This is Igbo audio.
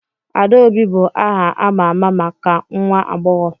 Adaobi bụ aha a ma ama maka nwa agbọghọ.